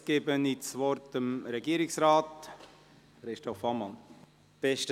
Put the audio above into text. Jetzt gebe ich dem Regierungsrat das Wort.